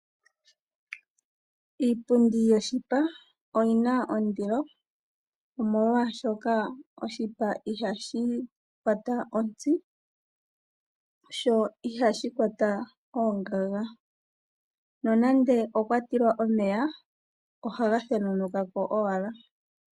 Iipundi yoshipa oyi na ondilo, omolwaashoka oshipa ihashi kwata ontsi, sho ihashi kwata oongaga , no nande okwa tilwa omeya oha ga thenunuka ko owala.